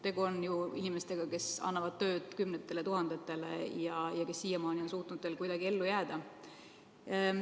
Tegu on ju inimestega, kes annavad tööd kümnetele tuhandetele ja kes siiamaani on suutnud kuidagi ellu jääda.